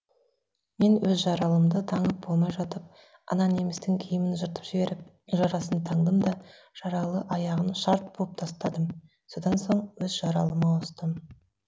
мен өз жаралымды таңып болмай жатып ана немістің киімін жыртып жіберіп жарасын таңдым да жаралы аяғын шарт буып тастадым содан соң өз жаралыма ауыстым